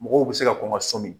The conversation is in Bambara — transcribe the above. Mɔgɔw bɛ se ka kɔn ka sɔmi.